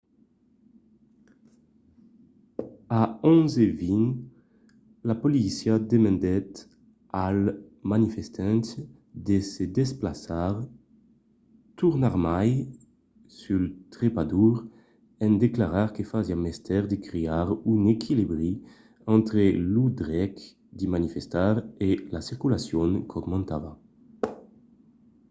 a 11:20 la polícia demandèt als manifestants de se desplaçar tornarmai sul trepador en declarar que fasiá mestièr de crear un equilibri entre lo drech de manifestar e la circulacion qu'aumentava